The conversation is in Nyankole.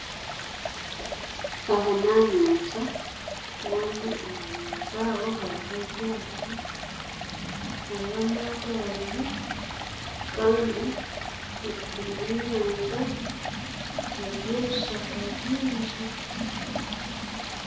Aha n'aha nyanja kandi aha nyanja aho hariho amato abiri kandi eriguru y'enyanja hariyo ebishaka byingi.